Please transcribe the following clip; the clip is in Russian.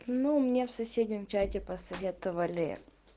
ну мне в соседнем чате посоветовали